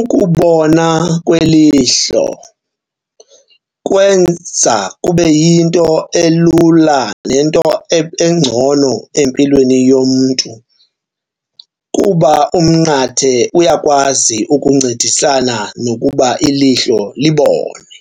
Ukubona kwelihlo kwenza kube yinto elula nento engcono empilweni yomntu kuba umnqathe uyakwazi ukuncedisana nokuba ilihlo libone.